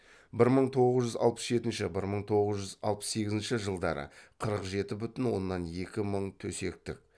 бір мың тоғыз жүз алпыс жетінші бір мың тоғыз жүз алпыс сегізінші жылдары қырық жеті бүтін оннан екі мың төсектік